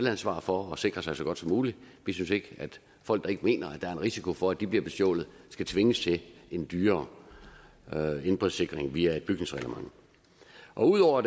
ansvar for at sikre sig så godt som muligt vi synes ikke at folk der ikke mener der er en risiko for at de bliver bestjålet skal tvinges til en dyrere indbrudssikring via et bygningsreglement og ud over at